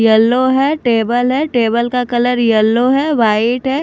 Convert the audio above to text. Yellow है table है table का कलर येलो है वाइट है।